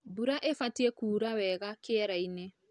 Mbura ĩbatie kura wega kĩerainĩ.